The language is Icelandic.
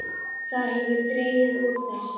Það hefur dregið úr þessu.